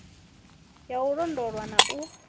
ya u londolwa na u